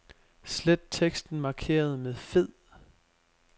Slet teksten markeret med fed.